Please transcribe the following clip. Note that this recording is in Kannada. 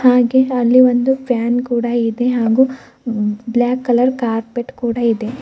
ಹಾಗೇ ಅಲ್ಲಿ ಒಂದು ಫ್ಯಾನ್ ಕೂಡ ಇದೆ ಹಾಗು ಬ್ಲಾಕ್ ಕಲರ್ ಕಾರ್ಪೆಟ್ ಕೂಡ ಇದೆ.